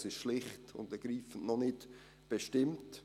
Es ist schlicht und ergreifend noch nicht bestimmt.